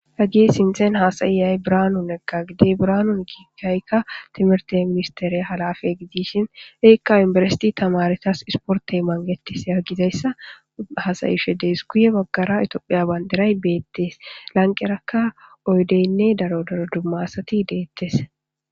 Haggi sinthen hasayiyay branun egqa gidey braanun kiikaykka timirte minsteriya halafe gidishin eekka inberesiti tamaretas isportey mangetis ya gizayssa hasayshe dees guye baggara itophiya bandiray beettees lanqerakka oydeynne daro daro dumma asati deettes.